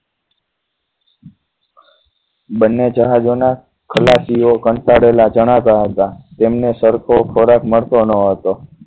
બંને જહાજોના ખલાસીઓ કંટાળેલા જણાવતા હતા તેમને સરખો ખોરાક મળતો ન હતો